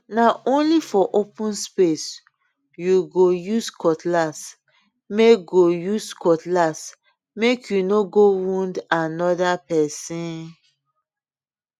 na only for open space you go use cutlassmake go use cutlassmake you no go wound another person